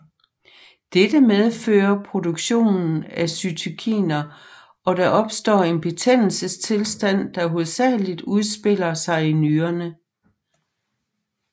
Dette medfører produktion af cytokiner og der opstår en betændelsestilstand der hovedsagligt udspiller sig i nyrerne